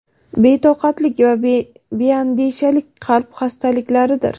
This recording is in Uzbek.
betoqatlik va beandishalik qalb xastaliklaridir.